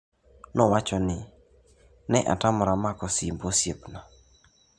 Ne atamora mako simb osiepna''nowacho.